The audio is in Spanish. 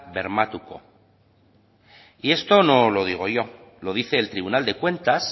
bermatuko y esto no lo digo yo lo dice el tribunal de cuentas